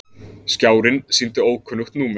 Skjárinn sýndi ókunnugt númer.